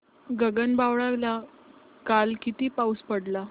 गगनबावड्याला काल किती पाऊस पडला